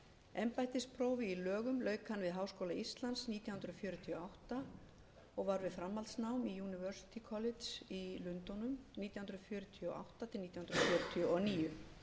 embættisprófi í lögum lauk hann við háskóla íslands nítján hundruð fjörutíu og átta og var við framhaldsnám í university college í lundúnum nítján hundruð fjörutíu og átta til nítján hundruð fjörutíu og níu hann öðlaðist réttindi